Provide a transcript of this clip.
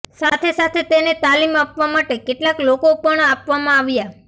સાથે સાથે તેને તાલીમ આપવા માટે કેટલાક લોકો પણ આપવામાં આવ્યા